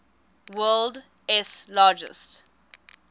world s largest